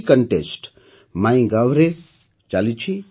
ଏହି କଣ୍ଟେଷ୍ଟ MyGovରେ ଚାଲିଛି